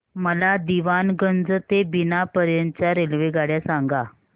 मला दीवाणगंज ते बिना पर्यंत च्या रेल्वेगाड्या सांगा